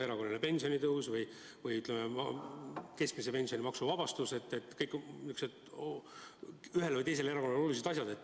Erakorraline pensionitõus ja keskmise pensioni maksuvabastus – need on ühele või teisele erakonnale olulised asjad.